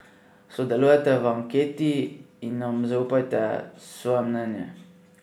Sodelujte v anketi in nam zaupajte svoje mnenje.